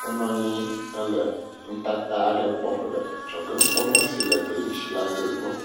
wonɔ anyi hele nutata aɖe kpɔm le adzɔge nukpɔmɔ si le gli ŋuti la gbɔ kpɔ…